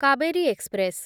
Kaveri express